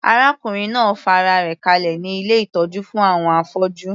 Arákùnrin náà fa ara rẹ̀ kalẹ̀ ní ilé ìtọ́jú fún àwọn afọ́jú.